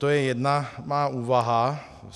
To je jedna má úvaha.